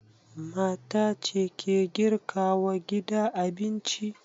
Mata ce ke girka wa gida abinci.